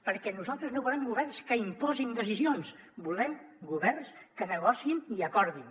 perquè nosaltres no volem governs que imposin decisions volem governs que negociïn i acordin